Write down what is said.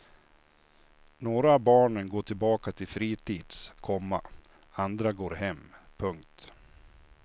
Några av barnen går tillbaka till fritids, komma andra går hem. punkt